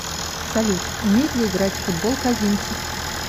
салют умеет ли играть в футбол козинцев